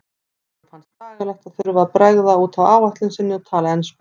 Eyrúnu fannst bagalegt að þurfa að bregða út af áætlun sinni og tala ensku.